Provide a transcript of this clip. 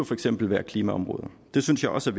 for eksempel være klimaområdet det synes jeg også